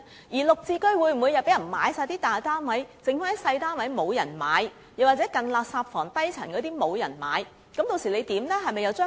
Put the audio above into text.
而"綠置居"又會否全部大單位均有人購買，剩餘小單位或近垃圾房或低層的單位卻沒有人問津？